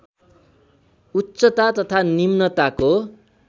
उच्चता तथा निम्नताको